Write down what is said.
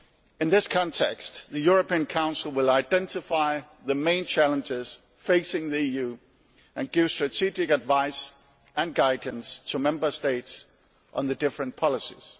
In this context the European Council will identify the main challenges facing the EU, and give strategic advice and guidance to Member States on the different policies.